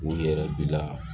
U yɛrɛ bila